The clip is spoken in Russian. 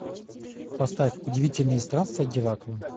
поставь удивительные странствия геракла